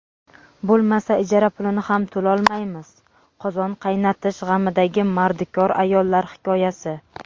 bo‘lmasa ijara pulini ham to‘lolmaymiz – qozon qaynatish g‘amidagi mardikor ayollar hikoyasi.